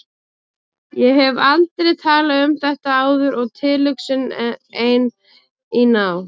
Ég hef aldrei talað um þetta áður og tilhugsunin ein, í ná